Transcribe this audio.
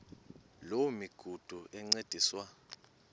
loo migudu encediswa